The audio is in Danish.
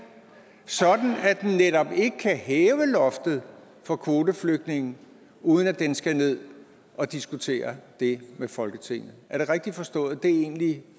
sådan at den netop ikke kan hæve loftet for kvoteflygtninge uden at den skal ned og diskutere det med folketinget er det rigtigt forstået at det egentlig